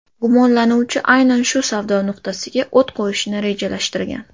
Gumonlanuvchi aynan shu savdo nuqtasiga o‘t qo‘yishni rejalashtirgan.